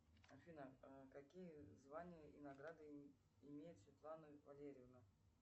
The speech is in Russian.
афина какие звания и награды имеет светлана валерьевна